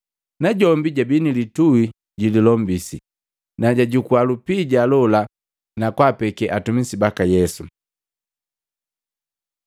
Najombi jabii nilitui jililombisi, najajukua lupija lola na kwaapekee atumi baka Yesu.